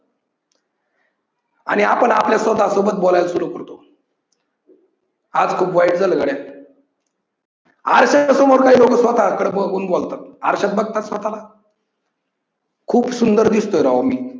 आणि आपण आपल्या स्वतः सोबत बोलायला सुरु करतो. आज खूप वाईट झाल गड्या! आरश्याच्या समोर काही लोक स्वतःच कडे बघून बोलतात, आरश्यात बघतात स्वतः ला खूप सुंदर दिसतोय राव मी.